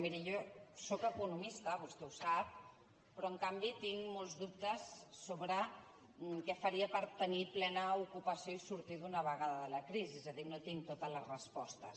miri jo sóc economista vostè ho sap però en canvi tinc molts dubtes sobre què faria per tenir plena ocupació i sortir d’una vegada de la crisi és a dir no tinc totes les respostes